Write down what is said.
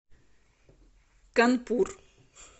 канпур